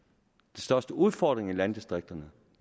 største udfordring i landdistrikterne